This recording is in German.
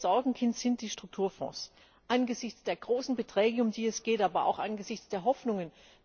Unser größtes Sorgenkind sind die Strukturfonds angesichts der großen Beträge, um die es geht, aber auch angesichts der Hoffnungen.